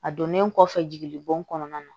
A donnen kɔfɛ jiginnibon kɔnɔna na